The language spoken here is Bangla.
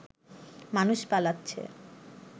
মানুষ পালাচ্ছে